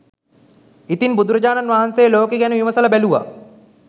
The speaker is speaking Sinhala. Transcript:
ඉතින් බුදුරජාණන් වහන්සේ ලෝකෙ ගැන විමසල බැලූවා